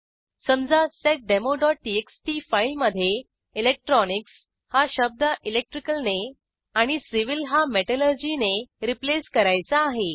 समजा seddemoटीएक्सटी फाईलमधे इलेक्ट्रॉनिक्स हा शब्द इलेक्ट्रिकल ने आणि सिव्हिल हा मेटलर्जी ने रिप्लेस करायचा आहे